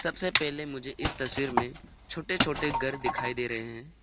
सबसे पहले मुझे इस तस्वीर में छोटे छोटे घर दिखाई दे रहे हैं।